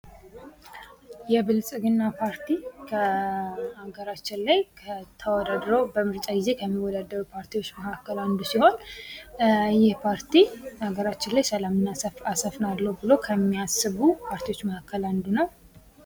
የብልግና ፓርቲ ከሀገራችን ላይ ተወዳድሮች በምርጣ ጊዜ ከሚወዳደር ፓርቲዎች መካከል አንዱ ሲሆን ይህ ፓርቲ በሀገራችን ላይ ሰላም አሰፋለሁ ብሎ ከሚያስቡ ፓርቲዎች መካከል አንዱ ነው።